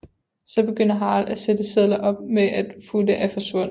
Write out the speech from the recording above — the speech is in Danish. Så begynder Harald at sætte sedler op med at Futte er forsvundet